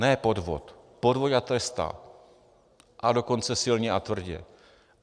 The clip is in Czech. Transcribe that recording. Ne podvod, podvod ať trestá, a dokonce silně a tvrdě.